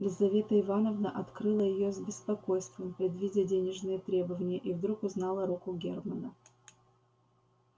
лизавета ивановна открыла её с беспокойством предвидя денежные требования и вдруг узнала руку германна